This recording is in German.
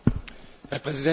Herr Präsident!